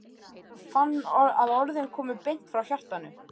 Hann fann að orðin komu beint frá hjartanu.